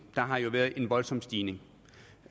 der har jo været en voldsom stigning